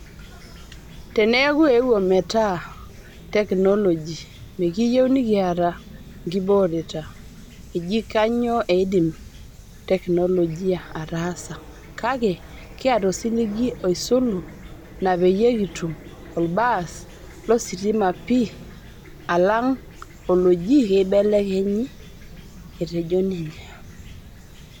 "Teneeku eeuo metaa teknoloji mekiyieu nikiata nkibooreta ejii kanyioo eidim (teknoloji) ataasa, kake kiata osiligi oisulu naapeyie kitum olbaas lositima pii alanga oloji keibelekenyi." Etejo ninye.